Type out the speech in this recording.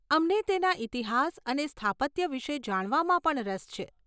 અમને તેના ઇતિહાસ અને સ્થાપત્ય વિશે જાણવામાં પણ રસ છે.